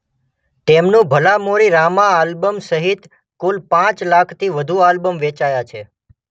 તેમનું ભલા મોરી રામા આલ્બમ સહિત કુલ પાંચ લાખથી વધુ આલ્બમ વેચાયા છે.